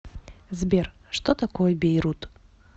сбер что такое бейрут